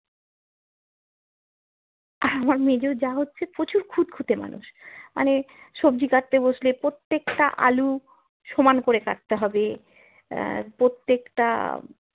আমার মেজো যা হচ্ছে প্রচুর খুঁতখুঁতে মানুষ মানে সবজি কাটতে বসলে প্রত্যেকটা আলু সমান করে কাটতে হবে আহ প্রত্যেকটা